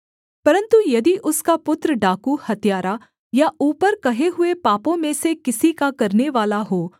परन्तु यदि उसका पुत्र डाकू हत्यारा या ऊपर कहे हुए पापों में से किसी का करनेवाला हो